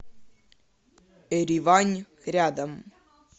эривань рядом